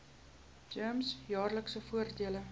gems jaarlikse voordele